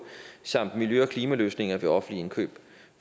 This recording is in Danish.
samt miljø og klimaløsninger ved offentlige indkøb